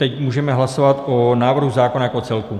Teď můžeme hlasovat o návrhu zákona jako celku.